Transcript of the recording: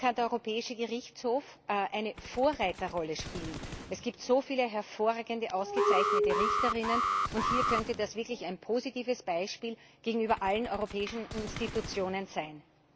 Hier kann der Europäische Gerichtshof eine Vorreiterrolle spielen. Es gibt so viele hervorragende, ausgezeichnete Richterinnen, und hier könnte das wirklich ein positives Beispiel gegenüber allen Europäischen Institutionen sein.